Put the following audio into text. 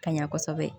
Ka ɲa kosɛbɛ